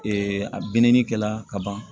a binni kɛla ka ban